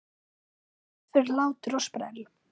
Allt fyrir hlátur og sprell!